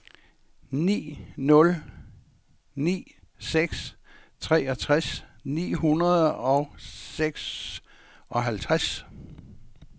ni nul ni seks treogtres ni hundrede og seksoghalvtreds